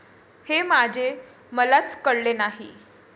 हे माझे मलाच कळले नाही.